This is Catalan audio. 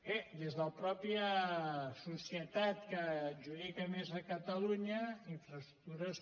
bé des de la mateixa societat que adjudica més a catalunya infraestructures